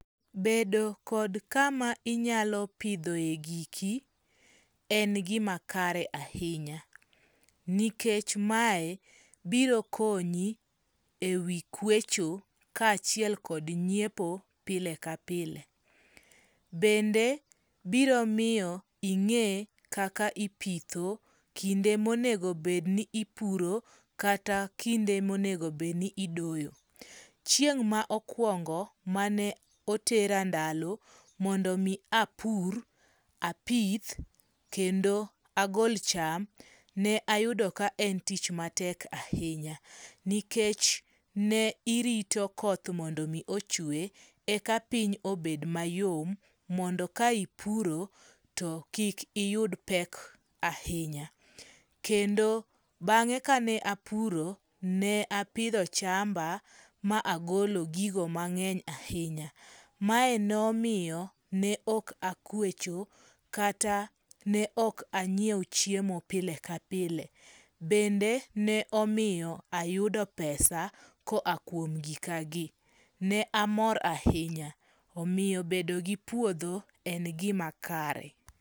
Bedo kod kama inyalo pidhoe giki ,en gima kare ahinya nikech mae biro konyi ewi kwecho kaachiel kod nyiepo pile ka pile. Bende biro miyo ing'e kaka ipitho, kinde monego bed ni ipuro, kata kinde monego bed ni idoyo. Chieng' ma okuongo mane otera ndalo, mondo mi apur, apith mondo mi agol cham, ne ayudo ka en tich matek ahinya nikech ne irito koth mondo mi ochwe, eka piny obed mayom mondo ka ipuro to kik iyud pek ahinya. Kendo bang'e kane apuro, ne apidho chamba, ma agolo gigo mang'eny ahinya. Mae nomiyo ne ok akwecho, kata ne ok anyiewo chiemo pile kapile. Bende ne omiyo ayudo pesa koa kuom gikagi. Ne amor ahinya. Omiyo bedo gi puodho, en gima kare.